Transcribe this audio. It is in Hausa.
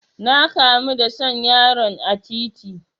Na kamu da son yaron a titi.